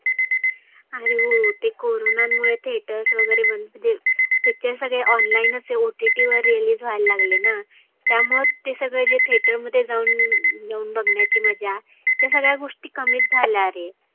आरे हो ते corona मुळे theaters वगैरे बंद म्हणजे picture सगळे online च आहे. OTT वर release व्हायला लागलेना. त्यामुळ ते theater मध्ये जाऊन बघण्याची मजा त्या सगळ्या गोष्टी कमीच झाल्या आरे.